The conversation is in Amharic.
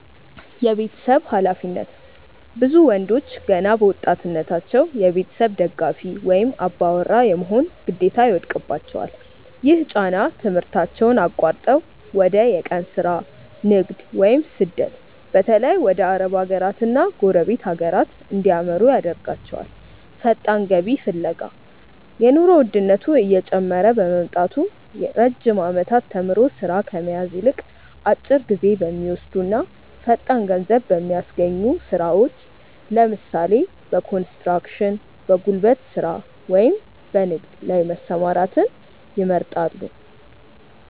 የቤተሰብ ኃላፊነት፦ ብዙ ወንዶች ገና በወጣትነታቸው የቤተሰብ ደጋፊ ወይም "አባወራ" የመሆን ግዴታ ይወድቅባቸዋል። ይህ ጫና ትምህርታቸውን አቋርጠው ወደ የቀን ሥራ፣ ንግድ ወይም ስደት (በተለይ ወደ አረብ ሀገራትና ጎረቤት ሀገራት) እንዲያመሩ ያደርጋቸዋል። ፈጣን ገቢ ፍለጋ፦ የኑሮ ውድነቱ እየጨመረ በመምጣቱ፣ ረጅም ዓመታት ተምሮ ሥራ ከመያዝ ይልቅ፣ አጭር ጊዜ በሚወስዱና ፈጣን ገንዘብ በሚያስገኙ ሥራዎች (ለምሳሌ፦ በኮንስትራክሽን፣ በጉልበት ሥራ ወይም በንግድ) ላይ መሰማራትን ይመርጣሉ።